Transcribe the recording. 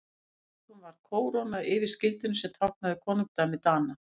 Að lokum var kóróna yfir skildinum sem táknaði konungdæmi Dana.